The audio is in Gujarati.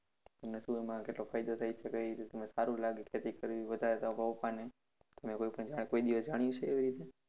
તમને શું એમા કેટલો ફાય઼દો થાય છે કઇ રીતનું સારું લાગે ખેતી કરવી વધારે તમારે પપ્પાને તમે કોઈ પણ કોઈ દિવસ જાણ્યુ છે એવી રીતે?